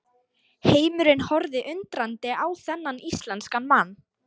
Heimurinn horfði undrandi á þennan íslenska mann.